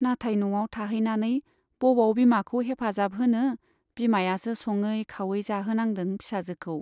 नाथाय न'आव थाहैनानै बबाव बिमाखौ हेफाजाब होनो , बिमायासो सङै खावै जाहोनांदों फिसाजोखौ।